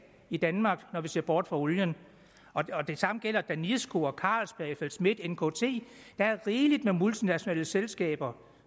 i danmark når vi ser bort fra olien det samme gælder danisco carlsberg fl schmidt nkt der er rigeligt med multinationale selskaber